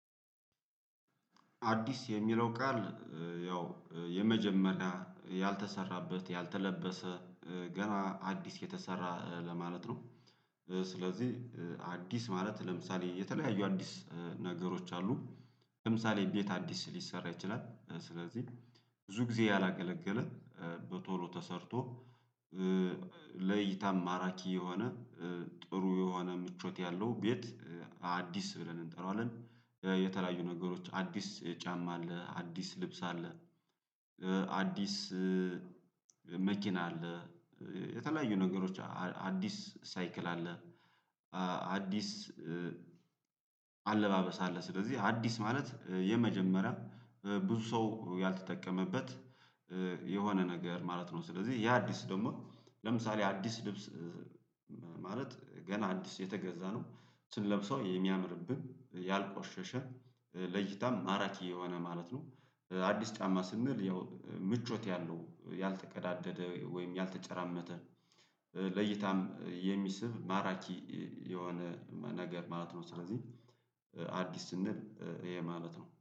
አዲስ የሚለው ቃል ያው የመጀመሪያ፣ ያልተሰራበት፣ ያልተለበሰ ገና አዲስ የተሰራ ለማለት ነው። ስለዚህ አዲስ ማለት ለምሳሌ የተለያዩ አዲስ ነገሮች አሉ። ለምሳሌ ቤት አዲስ ሊሰራ ይችላል። ስለዚህ ብዙ ጊዜ ያላገለገለ በቶሎ ተሰርቶ ለእይታ ማራኪ የሆነ ጥሩ የሆነ ምቾት ያለው ቤት አዲስ ብለን እንጠራዋለን። የተለያዩ ነገሮች አዲስ ጫማ አለ፣ አዲስ ልብስ አለ፣ አዲስ መኪና አለ፣ የተለያዩ ነገሮች አዲስ ሳይክል አለ፣ አዲስ አለባበስ አለ ስለዚህ አዲስ ማለት የመጀመሪያ ብዙ ሰው ያልተጠቀመበት የሆነ ነገር ማለት ነው። ስለዚህ ያ አዲስ ደግሞ ለምሳሌ አዲስ ልብስ ገና አዲስ የተገዛ ነው። ስንለብሰው የሚያምርብን፣ ያልቆሸሸ፣ ለእይታም ማራኪ የሆነ ማለት ነው። አዲስ ጫማ ስንል ያው ምቾት ያለው፣ ያልተቀዳደደ ወይም ያልተጨራመተ ለእይታም የሚስብ ማራኪ የሆነ ነገር ማለት ነው። ስለዚህ አዲስ ስንል ይሄ ማለት ነው።